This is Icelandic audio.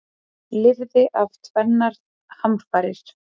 Lifði af tvennar hamfarir